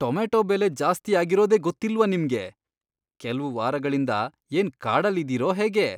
Tomato ಬೆಲೆ ಜಾಸ್ತಿಯಾಗಿರೋದೇ ಗೊತ್ತಿಲ್ವಾ ನಿಮ್ಗೆ? ಕೆಲ್ವ್ ವಾರಗಳಿಂದ ಏನ್ ಕಾಡಲ್ಲಿದೀರೋ ಹೇಗೆ?!